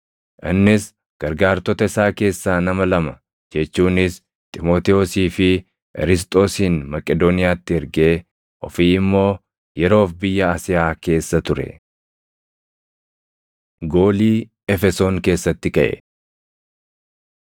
Innis gargaartota isaa keessaa nama lama jechuunis Xiimotewosii fi Erisxoosin Maqedooniyaatti ergee ofii immoo yeroof biyya Asiyaa keessa ture. Goolii Efesoon Keessatti Kaʼe